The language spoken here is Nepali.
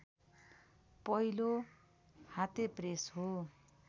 पहिलो हातेप्रेस हो